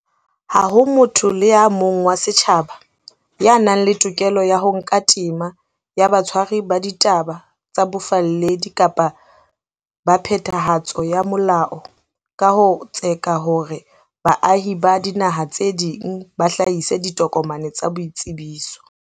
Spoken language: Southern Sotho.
Ha ho motho le a mong wa setjhaba ya nang le tokelo ya ho nka tema ya batshwari ba ditaba tsa bofalledi kapa ba phethahatso ya molao ka ho tseka hore baahi ba dinaha tse ding ba hlahise ditokomane tsa boitsebiso.